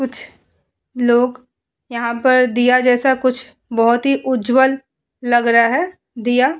कुछ लोग यहाँ पर दिया जैसा कुछ बहोत ही उज्जवल लग रहा है दिया।